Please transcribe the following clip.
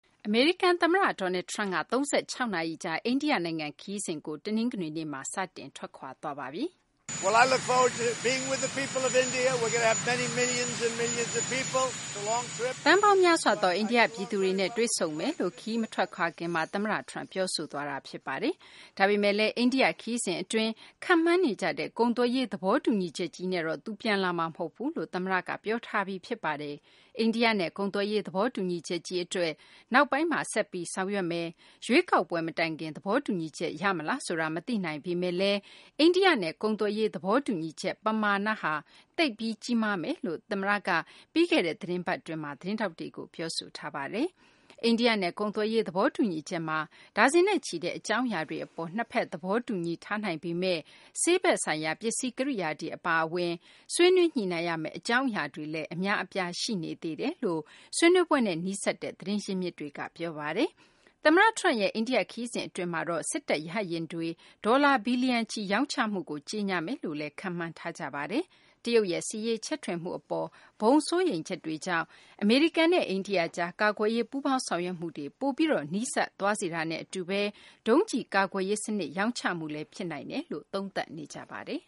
အမေရိကန်သမ္မတ Donald Trump က ၃၆ နာရီကြာ အိန္ဒိယနိုင်ငံ ခရီးစဉ်ကို တနင်္ဂနွေနေ့မှာ စတင်ထွက်ခွာသွားပြီ ဖြစ်ပါတယ်။ သန်းပေါင်းများစွာသော အိန္ဒိယပြည်သူတွေနဲ့ တွေ့ဆုံလိုကြောင်း ခရီးမထွက်ခွာခင်မှာ သမ္မတ Trump ပြောဆိုခဲ့တာပါ။ ဒါပေမယ့်လည်း အိန္ဒိယခရီးစဉ်အတွင်းမှာ ခန့်မှန်းနေကြတဲ့ ကုန်သွယ်ရေး သဘောတူညီချက်ကြီးနဲ့တော့ သူပြန်လာမှာမဟုတ်ဘူး ဆိုတာကို သမ္မတက ပြောဆိုထားပါတယ်။ အိန္ဒိယနဲ့ ကုန်သွယ်ရေး သဘောတူညီချက်ကြီးအတွက် နောက်ပိုင်းမှာ ဆက်လက်ဆောင်ရွက်သွားမယ်၊ ရွေးကောက်ပွဲမတိုင်ခင် သဘောတူညီချက် ရမလားဆိုတာ မသိနိုင်ပေမယ့်လည်း အိန္ဒိယနဲ့ ကုန်သွယ်ရေး သဘောတူညီချက်ဟာ ပမာဏ သိပ်ပြီးကြီးမားမယ်လို့ သမ္မတက ပြီးခဲ့တဲ့ သီတင်းပတ်မှာ သတင်းထောက်တွေကို ပြောဆိုထားပါတယ်။ အိန္ဒိယနဲ့ ကုန်သွယ်ရေး သဘောတူညီချက်မှာ ဒါဇင်နဲ့ချီတဲ့ အကြောင်းအရာတွေ အပေါ်မှာ နှစ်ဖက် သဘောတူညီချက်တွေ ရထားပြီး ဖြစ်ပေမယ့်လည်း ဆေးဘက်ဆိုင်ရာ ပစ္စည်းကိရိယာတွေအရေး အပါအဝင် ဆွေးနွေးညှိနှိုင်းရမယ့် အကြောင်းအရာတွေလည်း အများအပြား ရှိနေသေးကြောင်း ဆွေးနွေးပွဲနဲ့ နီးစပ်တဲ့ သတင်းရင်းမြစ်တွေက ပြောပါတယ်။ သမ္မတ Trump ရဲ့ အိန္ဒိယနိုင်ငံ ခရီးစဉ်အတွင်းမှာတော့ စစ်တပ် ရဟတ်ယာဉ်တွေ ဒေါ်လာ ဘီလျံချီ ရောင်းချမှုကို ကြေညာမယ်လို့ ခန့်မှန်းထားကြပါတယ်။ တရုတ်ရဲ့ စစ်ရေးချဲ့ထွင်မှုအပေါ် ဘုံစိုးရိမ်ချက်တွေကြောင့် အမေရိကန်နဲ့ အိန္ဒိယကြား ကာကွယ်ရေး ပူးပေါင်းဆောင်ရွက်မှုတွေ ပိုပြီး နီးကပ်သွားစေတာနဲ့ အတူပဲ ဒုံးကျည်ကာကွယ်ရေးစနစ် ရောင်းချမှုလည်း ဖြစ်နိုင်တယ်လို့ သုံးသပ်နေကြပါတယ်